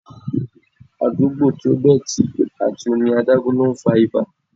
Àdúgbò to dọ̀tí àti omi adágún ni ó ń fa ibà.